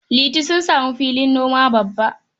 Liti samu filin noma babba.